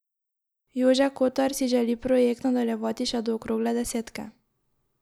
Jože Kotar si želi projekt nadaljevati še do okrogle desetke.